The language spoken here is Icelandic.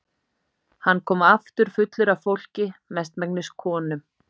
Hann kom aftur fullur af fólki, mestmegnis konum.